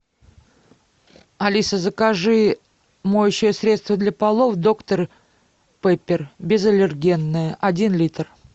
алиса закажи моющее средство для полов доктор пеппер безаллергенное один литр